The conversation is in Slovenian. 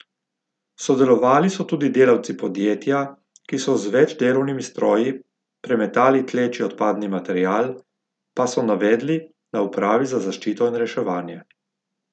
Sodelovali so tudi delavci podjetja, ki so z več delovnimi stroji premetali tleči odpadni material, pa so navedli na upravi za zaščito in reševanje.